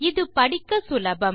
இது படிக்க சுலபம்